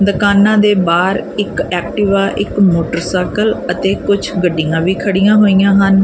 ਦੁਕਾਨਾਂ ਦੇ ਬਾਹਰ ਇੱਕ ਐਕਟੀਵਾ ਇੱਕ ਮੋਟਰਸਾਈਕਲ ਅਤੇ ਕੁੱਛ ਗੱਡੀਆਂ ਵੀ ਖੜੀਆਂ ਹੋਈਆਂ ਹਨ।